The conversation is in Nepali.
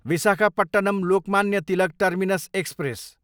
Visakhapatnam, Lokmanya Tilak terminus express